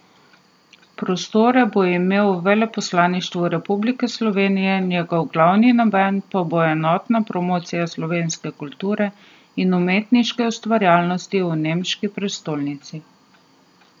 Prostore bo imel v veleposlaništvu Republike Slovenije, njegov glavni namen pa bo enotna promocija slovenske kulture in umetniške ustvarjalnosti v nemški prestolnici.